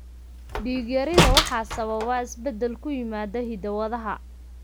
Dhiig-yarida 'sideroblastic anemia' waxaa sababa isbeddel ku yimaada hidda-wadaha ALAS2.